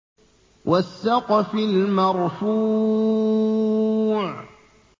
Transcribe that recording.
وَالسَّقْفِ الْمَرْفُوعِ